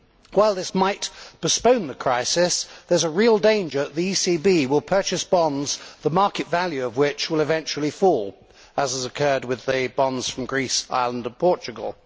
While this might postpone the crisis, there is a real danger that the ECB will purchase bonds the market value of which will eventually fall, as has occurred with the bonds from Greece, Ireland and Portugal.